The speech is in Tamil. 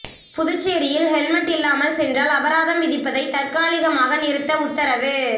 புதுச்சேரியில் ஹெல்மெட் இல்லாமல் சென்றால் அபராதம் விதிப்பதை தற்காலிகமாக நிறுத்த உத்தரவு